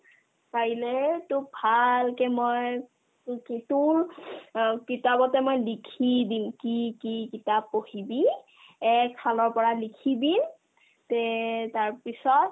কাইলে তোক ভালকে মই এ কি তোৰ অ কিতাপতে মই লিখি দিম কি কি কিতাপ পঢ়িবি একফালৰ পৰা লিখি দিম তে তাৰপিছত